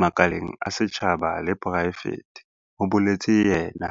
makaleng a setjhaba le a poraefete, ho boletse yena.